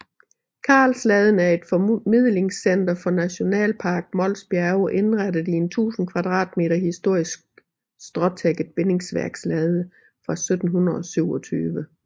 Karlsladen er et formidlingscenter for Nationalpark Mols Bjerge indrettet i en 1000 kvadratmeter historisk stråtækket bindingsværkslade fra 1727